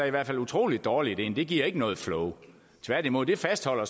i hvert fald utrolig dårligt ind det giver ikke noget flow tværtimod fastholder